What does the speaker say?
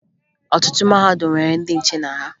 Ọtụtụ mahadum nwere ndị nche na ya